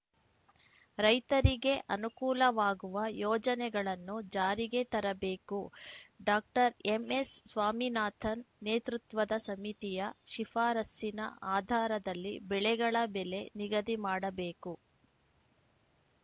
ರೈತರಿಗೆ ಅನುಕೂಲವಾಗುವ ಯೋಜನೆಗಳನ್ನು ಜಾರಿಗೆ ತರಬೇಕು ಡಾಕ್ಟರ್ ಎಂಎಸ್‌ಸ್ವಾಮಿನಾಥನ್‌ ನೇತೃತ್ವದ ಸಮಿತಿಯ ಶಿಫಾರಸ್ಸಿನ ಆಧಾರದಲ್ಲಿ ಬೆಳೆಗಳ ಬೆಲೆ ನಿಗದಿ ಮಾಡಬೇಕು